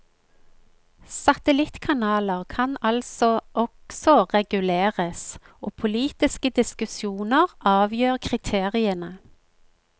Satellittkanaler kan altså også reguleres, og politiske diskusjoner avgjør kriteriene.